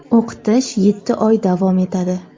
O‘qitish yetti oy davom etadi.